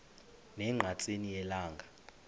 ne ngqatsini yelanga